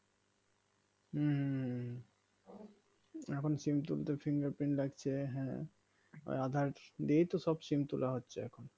হম হম হম হম এখন SIM তুলতে fingerprint লাগছে হ্যাঁ আধার দিয়েই তো সব SIM তোলা হচ্ছে এখন